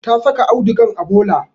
Ta saka audugan a bola